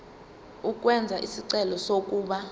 ukwenza isicelo sokuba